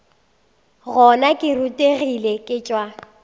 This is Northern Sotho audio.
gona ke rutegile ke tšwa